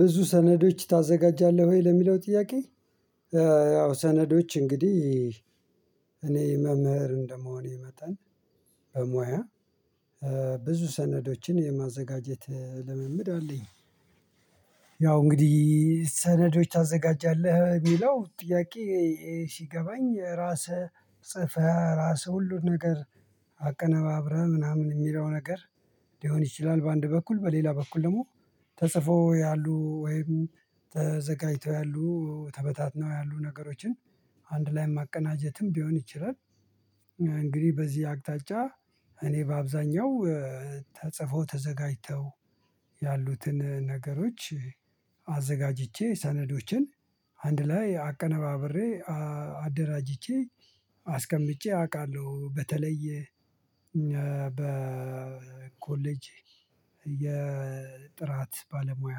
ብዙ ሰነዶች ታዘጋጃለህ ወይ ለሚለው ጥያቄ? ያው ሰነዶች እንግዲህ እኔ መምህር እንደመሆኔ መጠን በሙያ ብዙ ሰነዶችን የማዘጋጀት ልምምድ አለኝ። ያው እንግዲህ ሰነዶች ታዘጋጃለህ ሚለው ጥያቄ ሲገባኝ ራስህ ጽፈህ ራስህ ሁሉ ነገር አቀነባብረህ ምናምን ሚለው ነገር ሊሆን ይችላል በአንድ በኩል በሌላ በኩል ደግሞ ተጽፎ ያሉ ወይም ተዘጋጅተው ያሉ ተበታትነው ያሉ ነገሮችን አንድ ላይ ማቀናጀትም ቢሆን ይችላል። እንግዲህ በዚህ አቅጣጫ እኔ በአብዛኛው ተጽፎ ተዘጋጅተው ያሉትን ነገሮች አዘጋጅቼ ሰነዶችን አንድ ላይ አቀነባብሬ አደራጅቼ አስቀምጬ አውቃለሁ። በተለይ በኮሌጅ የጥራት ባለሙያ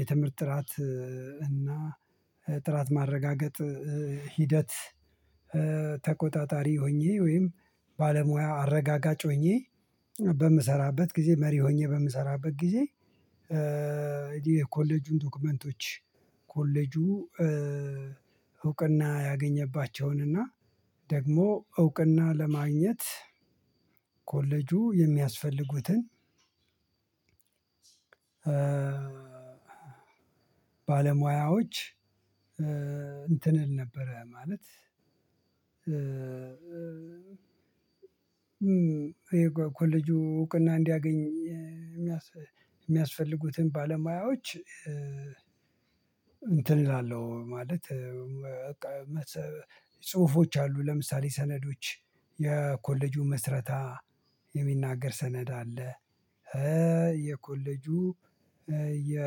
የትምህርት ጥራት እና ጥራት ማረጋገጥ ሂደት ተቆጣጣሪ ሆኜ ወይም ባለሙያ አረጋጋጭ ሆኜ በምሰራበት ጊዜ መሪ ሆኜ በምሰራበት ጊዜ። የኮሌጁን ዶክመንቶች ኮሌጁ እውቅና ያገኘባቸውን እና ደግሞ እውቅና ለማግኘት ኮሌጁ የሚያስፈልጉትን ባለሙያዎች እንትን ነበረ ማለት ኮሌጁ እውቅና እንዲያገኝ የሚ የሚያስፈልጉትን ባለሙያዎች እንትን እላለሁ ማለት በቃ መሰ ጽሁፎች አሉ ለምሳሌ ሰነዶች የኮሌጁ ምስረታ የሚናገር ሰነድ አለ። የኮሌጁ የ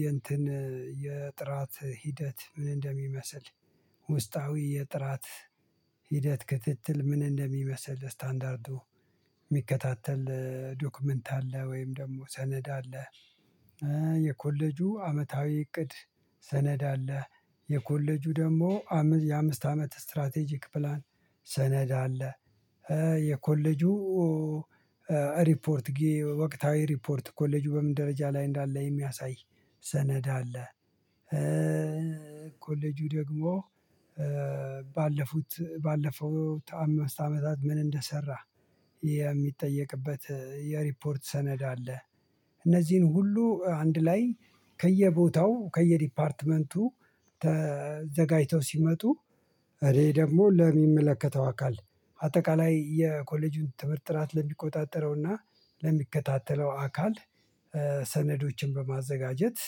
የእንትን የጥራት ሂደት ምን እንደሚመስል ውስጣዊ የጥራት ሂደት ክትትል ምን እንደሚመስል ስታንዳርዱ ሚከታተል ዶክመንት አለ ወይም ደግሞ ሰነድ አለ። የኮሌጁ አመታዊ እቅድ ሰነድ አለ። የኮሌጁ ደሞ አምስ የአምስት አመት ስትራቴጂክ ፕላን ሰነድ አለ። የኮሌጁ ሪፖርት ወቅታዊ ሪፖርት ኮሌጁ በምን ደረጃ ላይ እንዳለ የሚያሳይ ሰነድ አለ። ኮሌጁ ደግሞ ባለፉት ባለፈው አምስት አመታት ምን እንደሰራ የሚጠየቅበት የሪፖርት ሰነድ አለ። እነዚህን ሁሉ አንድ ላይ ከየቦታው ከየዲፓርትመንቱ ተዘጋጅተው ሲመጡ እኔ ደግሞ ለሚመለከተው አካል አጠቃላይ የኮሌጁን ትምህርት ጥራት ለሚቆጣጠረውና ለሚከታተለው አካል ሰነዶችን በማዘጋጀት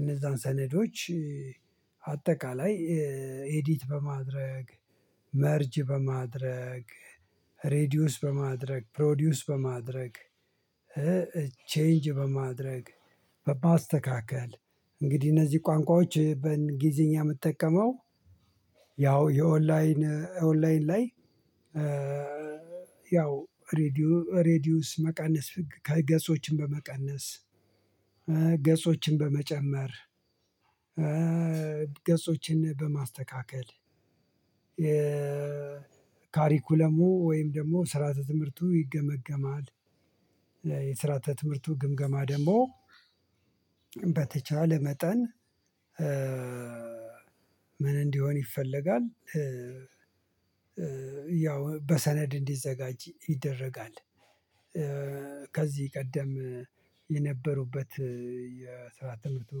እነዛን ሰነዶች አጠቃላይ ኢዲት በማድረግ መርጅ በማድረግ ሬዲዩስ በማድረግ ፕሮዲዩስ በማድረግ ቼንጅ በማድረግ በማስተካከል እንግዲህ እነዚህ ቋንቋዎች በእንግሊዝኛ ምጠቀመው። ያው የኦንላይን ኦንላይን ላይ ያው ሬዲዩ ሬዲዩስ መቀነስ ከገጾችን በመቀነስ ገጾችን በመጨመር ገጾችን በማስተካከል የካሪኩለሙ ወይም ደግሞ ስርዓተ ትምህርቱ ይገመገማል። የስራተ ትምህርቱ ግምገማ ደግሞ በተቻለ መጠን ምን እንዲሆን ይፈለጋል? ያው በሰነድ እንዲዘጋጅ ይደረጋል። ከዚህ ቀደም የነበሩበት የስራ ትምህርቱ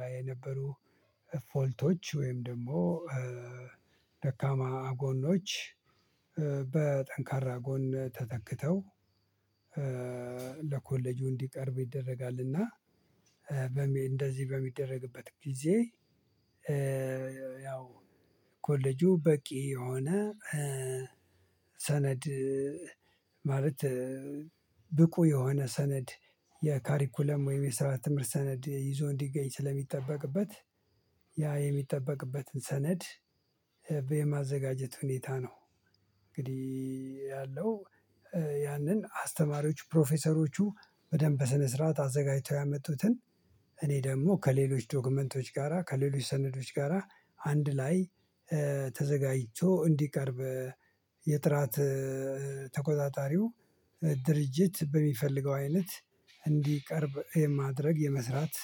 ላይ የነበሩ ፎልቶች ወይም ደግሞ ደካማ ጎኖች በጠንካራ ጎን ተተክተው ለኮሌጁ እንዲቀርብ ይደረጋል። እና በሚ እንደዚህ በሚደረግበት ጊዜ ያው ኮሌጁ በቂ የሆነ ሰነድ ማለት ብቁ የሆነ ሰነድ የካሪኩለም ወይም የስራ ትምህርት ሰነድ ይዞ እንዲገኝ ስለሚጠበቅበት ያ የሚጠበቅበትን ሰነድ በማዘጋጀት ሁኔታ ነው። እንግዲህ ያለው ያንን አስተማሪዎች ፕሮፌሰሮቹ በደንብ በስነ ስርዓት አዘጋጅተው ያመጡትን እኔ ደግሞ ከሌሎች ዶክመንቶች ጋራ ከሌሎች ሰነዶች ጋራ አንድ ላይ ተዘጋጅቶ እንዲቀርብ የጥራት ተቆጣጣሪው ድርጅት በሚፈልገው አይነት እንዲቀርብ የማድረግ የመስራት